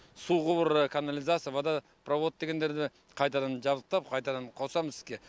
су құбыры канализация вода провод дегендерді қайтадан жабдықтап қайтадан қосамыз іске